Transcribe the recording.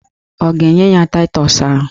Ọ ga-enye ya taịtọs ahụ?